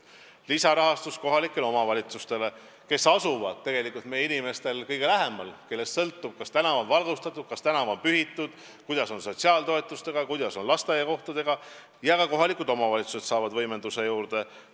Lisarahastus kohalikele omavalitsustele, kes asuvad tegelikult meie inimestel kõige lähemal, kellest sõltub, kas tänav on valgustatud, kas tänav on pühitud, kuidas on sotsiaaltoetustega, kuidas on lasteaiakohtadega, ja ka kohalikud omavalitsused saavad võimenduse juurde.